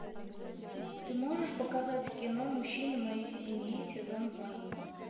ты можешь показать кино мужчина моей семьи сезон два